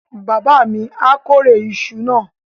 Bàbá mi á kórè iṣu náà.